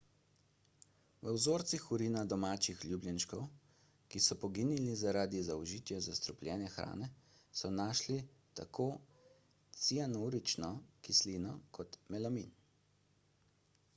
v vzorcih urina domačih ljubljenčkov ki so poginili zaradi zaužitja zastrupljene hrane so našli tako cianurično kislino kot melamin